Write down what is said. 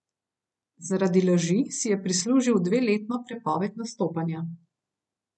Zaradi laži si je prislužil dveletno prepoved nastopanja.